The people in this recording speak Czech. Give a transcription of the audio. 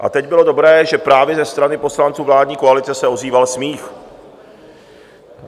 A teď bylo dobré, že právě ze strany poslanců vládní koalice se ozýval smích.